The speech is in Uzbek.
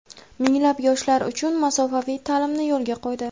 minglab yoshlar uchun masofaviy ta’limni yo‘lga qo‘ydi.